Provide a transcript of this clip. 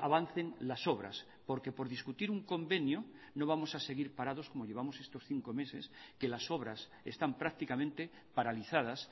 avancen las obras porque por discutir un convenio no vamos a seguir parados como llevamos estos cinco meses que las obras están prácticamente paralizadas